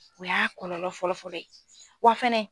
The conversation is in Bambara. O y'a kɔlɔlɔ fɔlɔfɔlɔ ye wa fɛnɛ